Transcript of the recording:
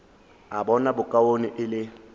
a bona bokaone e le